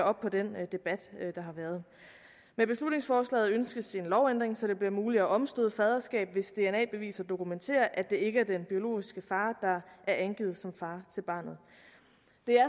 op på den debat der har været med beslutningsforslaget ønskes en lovændring så det bliver muligt at omstøde et faderskab hvis dna beviser dokumenterer at det ikke er den biologiske far der er angivet som far til barnet